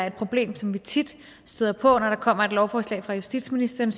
et problem som vi tit støder på når der kommer et lovforslag fra justitsministeren